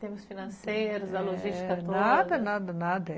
Temos financeiros, a logística toda... Nada, nada, nada.